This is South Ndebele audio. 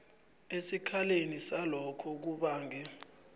esikhaleni salokho kubange